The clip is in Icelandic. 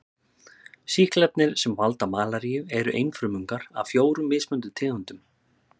Sýklarnir sem valda malaríu eru einfrumungar af fjórum mismunandi tegundum.